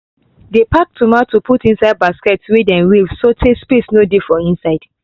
dey pack tomato put inside basket wey dey weave so tay space no dey for inside